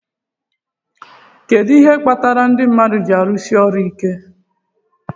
Kedu ihe kpatara ndị mmadụ ji árụ̀si ọrụ iké?